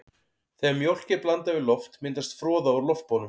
Þegar mjólk er blandað við loft myndast froða úr loftbólum.